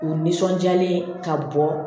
U nisɔndiyalen ka bɔ